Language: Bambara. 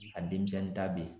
A denmisɛnnin ta bɛ yen.